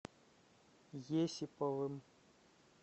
есиповым